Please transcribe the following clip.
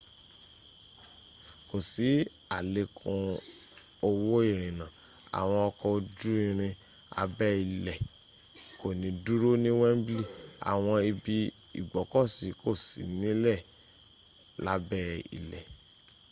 kò sí àlékún owó ìrìnnà àwọn ọkọ̀ ojú irin abẹ́ ilẹ̀ kò ní dúró ní wembley àwọn ibi ìgbọ́kọ̀sí kò sí nílẹ̀ lábẹ́ ilẹ̀